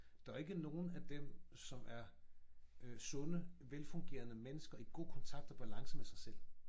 Der jo ikke nogen af dem som er øh sunde velfungerende mennesker i god kontakt og balance med sig selv